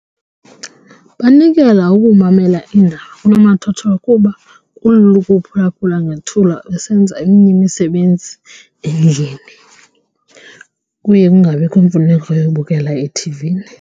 Banikela ukumamela iindaba kunomathotholo kuba kulula ukuphulaphula ngethuba besenza eminye imisebenzi endlini kuye kungabikho mfuneko yobukela ethivini.